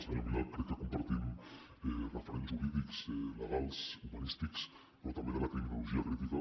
senyor milà crec que compartim referents jurídics legals humanístics però també de la criminologia crítica